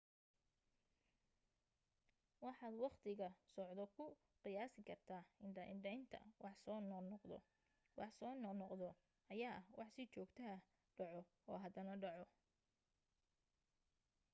waxaad waqtiga socdo ku qiyaasi kartaa indha indhaynta wax soo noqnoqdo wax soo noqnoqdo ayaa ah wax si joogto ah dhaco oo hadana dhaco